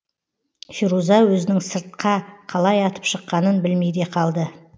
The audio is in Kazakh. феруза өзінің сыртқа қалай атып шыққанын білмей де қалды